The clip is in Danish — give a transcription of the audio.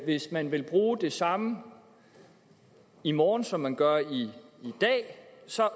at hvis man vil bruge det samme i morgen som man gør i dag så